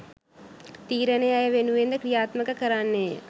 තීරණය ඇය වෙනුවෙන්ද ක්‍රියාත්මක කරන්නේය